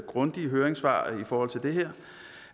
grundige høringssvar i forhold til det her